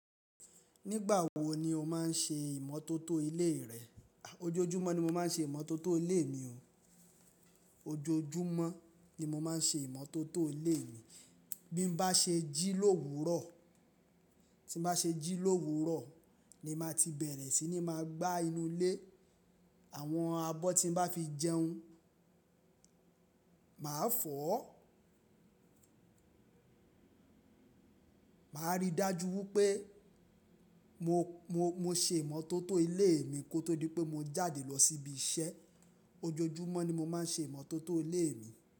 Nígbà wo ni o má n ṣe ìmọ́tótó ilé rẹ? Ojoojúmọ́ ni mo má n ṣe ìmọ́tótó ilé mi o. Ojoojúmọ́ ni mo má n ṣe ìmọ́tótó ilé mi. Bí n bá ṣe jí l'òwúrọ̀, tí n bá ṣe jí l'òwúrọ̀ ni mà ti bẹ̀rẹ̀ sí ní máa gbá inú ilé. Àwọn abọ́ tí mo bá fi jẹun mà a fọ̀ ọ́. Mà a rí i dájú wí pé mo, mo, mo ṣe ìmọ́tótó ilé mi kó tó di pé mo jáde lọ síbi iṣẹ́. Ojoojúmọ́ ni mo má n ṣe ìmọ́tótó ilé mi.